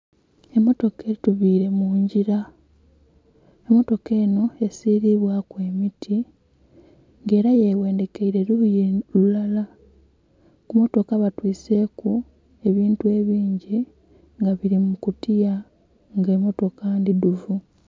Emotoka etubire mungila emotoka enho esilibwaku emiti nga era ye ghendhekeire lughi lulala. Ku motoka batwiseku ebintu ebingi nga bili mu kutiya nga emotoka ndidhuvu.